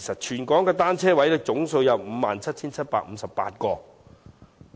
全港的單車泊位總數有 57,758 個。